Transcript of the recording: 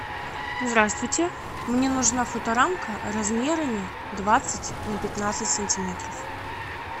здравствуйте мне нужна фоторамка размерами двадцать на пятнадцать сантиметров